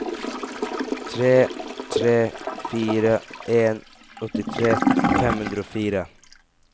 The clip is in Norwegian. tre tre fire en åttitre fem hundre og fire